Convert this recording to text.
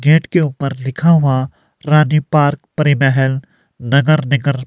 gate के ऊपर लिखा हुआ रानी पार्क परि महल नगर निगर--